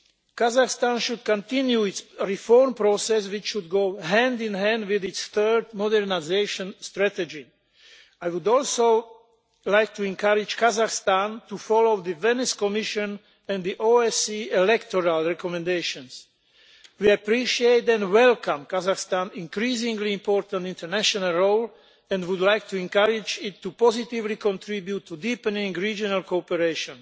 Kazakhstan should continue its reform process, which should go hand in hand with its third modernisation strategy. I would also like to encourage Kazakhstan to follow the Venice Commission and the OSC electoral recommendations. We appreciate and welcome Kazakhstan's increasingly important international role and would like to encourage it to positively contribute to deepening regional cooperation.